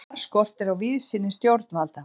Þar skortir á víðsýni stjórnvalda.